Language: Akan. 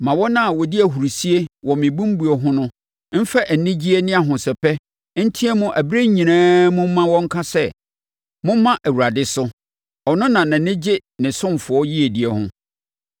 Ma wɔn a wɔdi ahurisie wɔ me bembuo ho no mfa anigyeɛ ne ahosɛpɛ nteam ɛberɛ nyinaa mu ma wɔnka sɛ, “Momma Awurade so, ɔno na nʼani gye ne ɔsomfoɔ yiedie ho.”